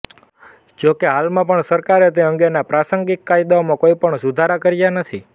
જોકે હાલમાં પણ સરકારે તે અંગેના પ્રાસંગીક કાયદાઓમાં કોઈ જ સુધારા કર્યા નથી